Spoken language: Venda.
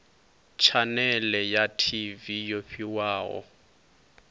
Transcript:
tshanele ya tv yo fhiwaho